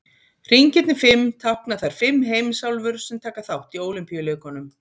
Hringirnir fimm tákna þær fimm heimsálfur sem taka þátt í Ólympíuleikunum.